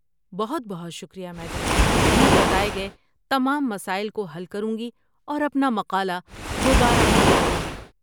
بہت بہت شکریہ، میڈم، میں بتائے گئے تمام مسائل کو حل کروں گی اور اپنا مقالہ دوبارہ پیش کروں گی۔